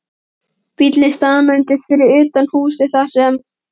Bíllinn staðnæmdist fyrir utan húsið þar sem